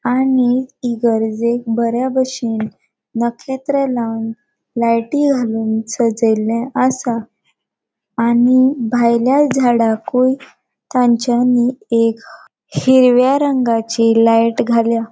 आणि इगरजेक बरी बशेन नकेत्र लावन लायटी घालून सजेले आसा आणि भायल्या झाड़ाकुए तांचानी एक हिरव्या रंगाचे लायटी घाल्या.